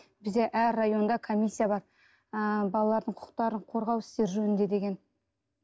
бізде әр районда комиссия бар ы балалардың құқықтарын қорғау істері жөнінде деген